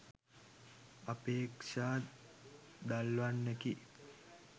අපේක්ෂා දල්වන්නකි